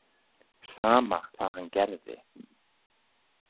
Sama hvað hann gerði.